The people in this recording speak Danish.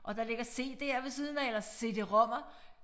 Og der ligger cd'er ved siden af eller cd-rom'er